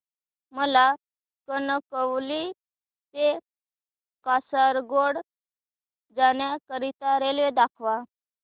मला कणकवली ते कासारगोड जाण्या करीता रेल्वे दाखवा